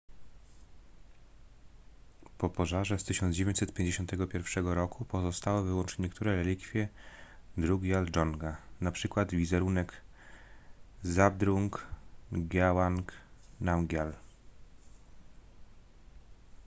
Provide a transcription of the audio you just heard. po pożarze z 1951 roku pozostały wyłącznie niektóre relikwie drukgyal dzonga np wizerunek zhabdrung ngawang namgyal